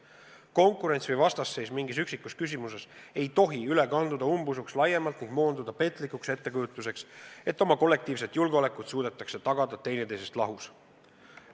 Konkurents või vastasseis mingis üksikus küsimuses ei tohi üle kanduda umbusuks laiemalt ning moonduda petlikuks ettekujutuseks, et oma kollektiivset julgeolekut suudetakse tagada üksteisest lahus.